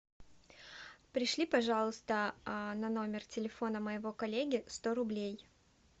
пришли пожалуйста на номер телефона моего коллеги сто рублей